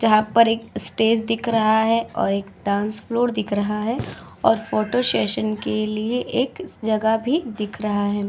जहां पर एक स्टेज दिख रहा है और एक डांस फ्लोर दिख रहा है और फोटो सेशन के लिए एक जगह भी दिख रहा है।